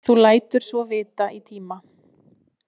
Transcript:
Þú lætur svo vita í tíma.